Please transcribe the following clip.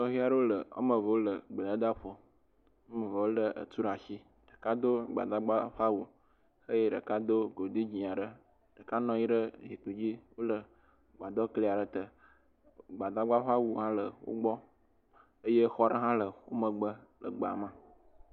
Nɔvi aɖewo le woame eve wole gbedada aɖe ƒo, woame evea woé etu ɖe asi, ɖeka do gbadagba ƒe awu eye ɖeka do godui dzɛ̃ aɖe, ɖeka nɔ anyi ɖe zikpui dzi, wole gbadɔ kli aɖe te, gbadagba ƒe awu hã le wo gbɔ eye xɔ aɖe hã le wo megbe le gbea me.,